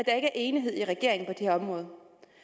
er enighed i regeringen på her område